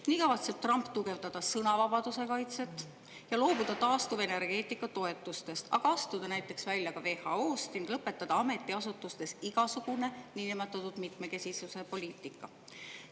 Trump kavatseb tugevdada sõnavabaduse kaitset ja loobuda taastuvenergeetika toetustest, astuda välja WHO-st ning lõpetada ametiasutustes igasugune niinimetatud mitmekesisuse poliitika.